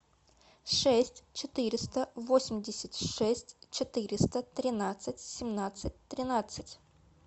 шесть четыреста восемьдесят шесть четыреста тринадцать семнадцать тринадцать